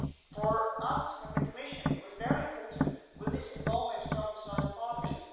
For us, the Commission, it was very important with this involvement from the side of Parliament.